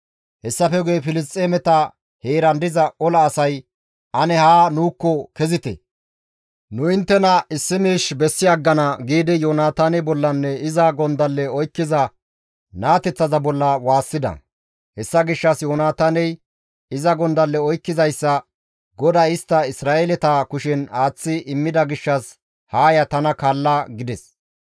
Hessafe guye Filisxeemeta heeran diza ola asay, «Ane haa nuukko kezite; nu inttena issi miish bessi aggana» giidi Yoonataane bollanne iza gondalle oykkiza naateththaza bolla waassida. Hessa gishshas Yoonataaney iza gondalle oykkizayssa, «GODAY istta Isra7eeleta kushen aaththi immida gishshas haa ya tana kaalla» gides.